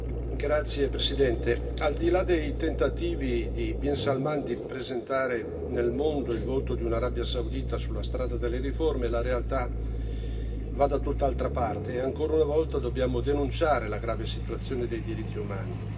Signor Presidente, onorevoli colleghi, al di là dei tentativi di bin Salman di presentare nel mondo il volto di una Arabia Saudita sulla strada delle riforme, la realtà va da tutt'altra parte, e ancora una volta dobbiamo denunciare la grave situazione dei diritti umani.